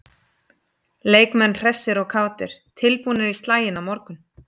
Leikmenn hressir og kátir- tilbúnir í slaginn á morgun.